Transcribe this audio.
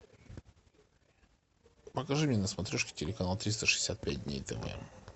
покажи мне на смотрешке телеканал триста шестьдесят пять дней тв